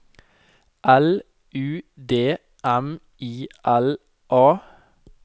L U D M I L A